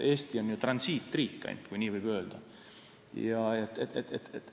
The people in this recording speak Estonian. Eesti on transiitriik, kui nii võib öelda.